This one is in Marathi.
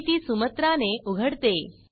मी ती सुमत्रा ने उघडते